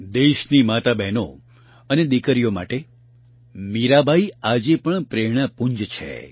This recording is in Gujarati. દેશની માતાઓબહેનો અને દિકરીઓ માટે મીરાબાઇ આજે પણ પ્રેરણાપુંજ છે